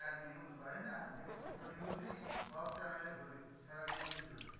যা news হয় না? দেখবি দুটো news ই সব channel এ ঘোরে, সারাদিন চলছে।